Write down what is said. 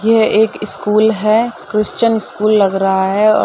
ये एक स्कूल है। क्रिस्टन स्कूल लग रहा है औ --